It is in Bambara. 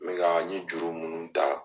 me ka n ye juru minnu ta.